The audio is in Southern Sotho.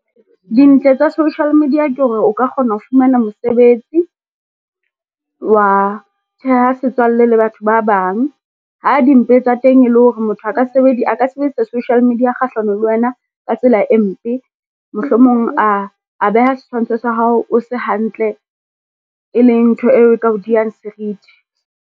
Dintle tsa social media ke hore o ka kgona ho fumana mosebetsi, wa theha setswalle le batho ba bang. Ha di mpe tsa teng, e le hore motho a ka sebedisa social media kgahlano le wena ka tsela e mpe. Mohlomong a beha setshwantsho sa hao o se hantle, e leng ntho e ka o diyang serithi.